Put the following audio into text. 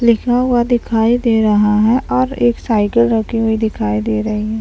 लिखा हुआ दिखाई दे रहा है और एक साइकिल रखी हुई दिखाई दे रही --